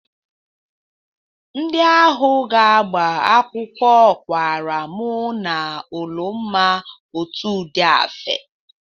Ndị ahụ ga-agba akwụkwọ kwara mʉ na Ụlụmma otu ụdị afe.